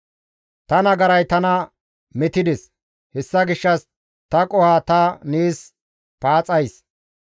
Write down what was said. Ta nagaray tana metides; hessa gishshas ta qoho ta nees paaxays.